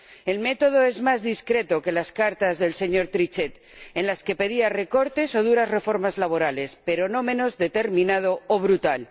El método es más discreto que las cartas del señor Trichet, en las que pedía recortes o duras reformas laborales, pero no menos determinado o brutal.